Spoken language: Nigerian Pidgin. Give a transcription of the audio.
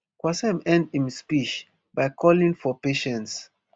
qassem end im speech by calling for patience